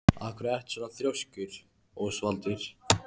Af hverju ertu svona þrjóskur, Ósvaldur?